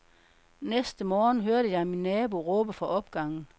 Næste morgen hørte jeg min nabo råbe fra opgangen.